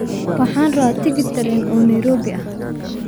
Waxaan rabaa tigidh tareen oo Nairobi ah